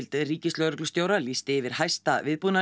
ríkislögreglustjóra lýsti yfir hæsta